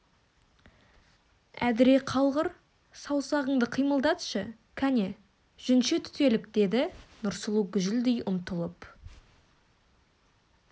әдіре қалғыр саусағыңды қимылдатшы кәне жүнше түтелік деді нұрсұлу гүжілдей ұмтылып